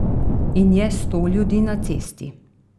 In je sto ljudi na cesti.